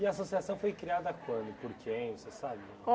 E a associação foi criada quando, por quem, você sabe?